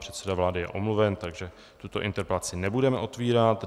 Předseda vlády je omluven, takže tuto interpelaci nebudeme otvírat.